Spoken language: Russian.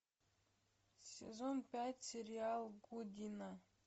сезон пять сериал гудина